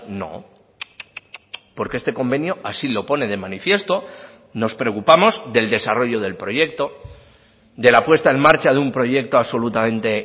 no porque este convenio así lo pone de manifiesto nos preocupamos del desarrollo del proyecto de la puesta en marcha de un proyecto absolutamente